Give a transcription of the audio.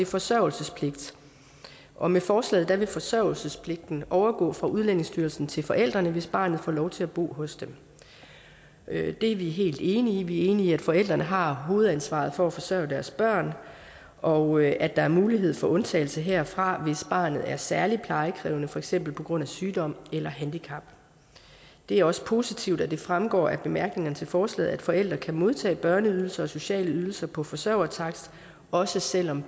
forsørgelsespligt og med forslaget vil forsørgelsespligten overgå fra udlændingestyrelsen til forældrene hvis barnet får lov til at bo hos dem det er vi helt enige i vi er enige i at forældrene har hovedansvaret for at forsørge deres børn og at der er mulighed for undtagelse herfra hvis barnet er særlig plejekrævende for eksempel på grund af sygdom eller handicap det er også positivt at det fremgår af bemærkningerne til forslaget at forældre kan modtage børneydelser og sociale ydelser på forsørgertakst også selv om